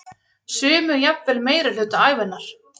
Sumir jafnvel meirihluta ævinnar.